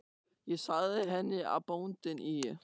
Ég sagði henni að bóndinn í